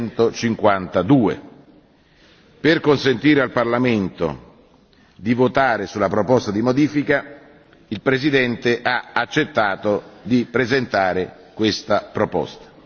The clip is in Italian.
152. Per consentire al Parlamento di votare sulla proposta di modifica, il Presidente ha accettato di presentare questa proposta.